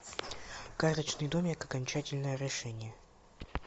карточный домик окончательное решение